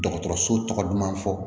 Dɔgɔtɔrɔso tɔgɔ duman fɔ